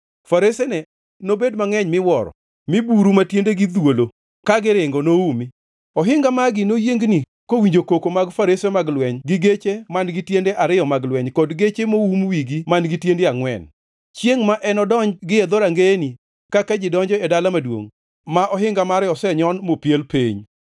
Faresene nobed mangʼeny miwuoro mi buru ma tiendegi dhwolo ka giringo noumi. Ohinga magi noyiengni kowinjo koko mag farese mag lweny gi geche man-gi tiende ariyo mag lweny kod geche moum wigi man-gi tiende angʼwen, chiengʼ ma enodonj gie dhorangeyeni kaka ji donjo e dala maduongʼ ma ohinga mare osenyon mopiel piny.